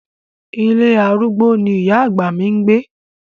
Ilé arúgbó ni ìyá àgbà mi ń gbé.